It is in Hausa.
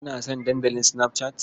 Kana son Dandalin Snapchat?